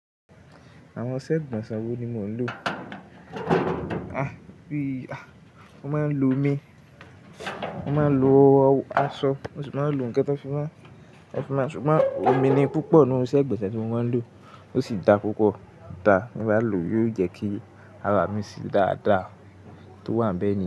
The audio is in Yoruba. Àwọn isẹ́ igbonsè wo ni mò ń lò? A! Bí i a! Mo máa ń lo omi, mo máa ń lo aṣọ, mo sì máa ń lo ńkan tan fi máa, tan fi mán, ṣùgbọ́n omi ni púpọ̀ nínú iṣẹ́ igbonsè tí mo máa ń lò. Ó sì dá púpọ̀ dá, ti n bá lò yóò jẹ́ kí ara mi sì dáadáa ntó wà n bẹ̀ yẹn.